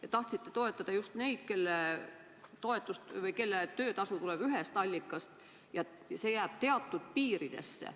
Te tahtsite toetada just neid, kelle töötasu tuleb ühest allikast ja jääb teatud piiridesse.